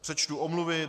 Přečtu omluvy.